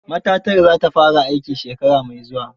Matatar za ta fara aiki shekara mai zuwa.